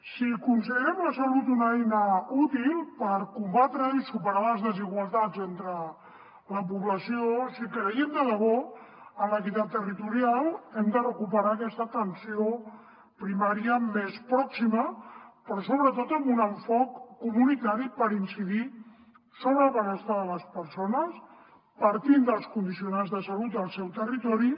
si considerem la salut una eina útil per combatre i superar les desigualtats entre la població si creiem de debò en l’equitat territorial hem de recuperar aquesta atenció primària més pròxima però sobretot amb un enfocament comunitari per incidir sobre el benestar de les persones partint dels condicionants de salut del seu territori